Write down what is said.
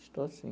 Estou, sim.